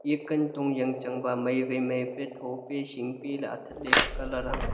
eya kantong jangchan ba mai wai mai pe tho pe hing pe athag le pe colour aa.